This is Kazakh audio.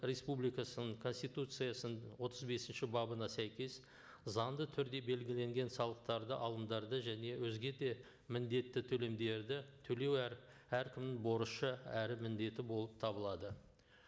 республикасының конституциясының отыз бесінші бабына сәйкес заңды түрде белгіленген салықтарды алымдарды және өзге де міндетті төлемдерді төлеу әр әркімнің борышы әрі міндеті болып табылады